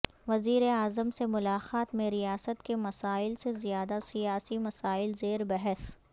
وزیر اعظم سے ملاقات میں ریاست کے مسائل سے زیادہ سیاسی مسائل زیر بحث